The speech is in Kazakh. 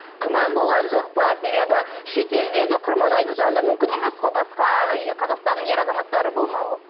күмән болған жоқ па себебі шетелде де құрманайдың жанында мүмкін емес қой басқа қазақстанның ер азаматтары болмауы